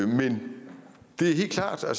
men det er helt klart at